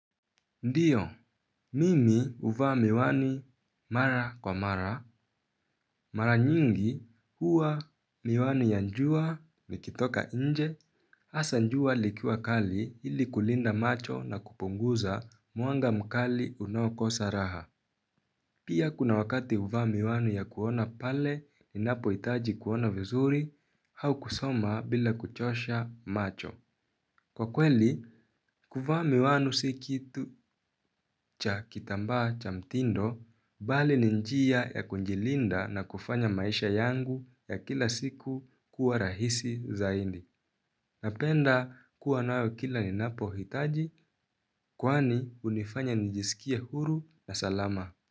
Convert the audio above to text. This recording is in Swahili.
Ndiyo, mimi huvaa miwani mara kwa mara mara nyingi huwa miwani ya jua nikitoka nje hasa jua likiwa kali ili kulinda macho na kupunguza mwanga mkali unaokosa raha. Pia kuna wakati huvaa miwani ya kuona pale ninapohitaji kuona vizuri au kusoma bila kuchosha macho. Kwa kweli, kuvaa miwani si kitu cha kitambaa cha mtindo bali ni njia ya kujilinda na kufanya maisha yangu ya kila siku kuwa rahisi zaidi. Napenda kuwa nawe kila ninapo hitaji kwani hunifanya nijisikie huru na salama.